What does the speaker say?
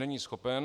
Není schopen.